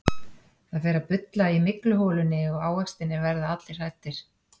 Það fer að bulla í mygluholunni og ávextirnir verða allir hræddir.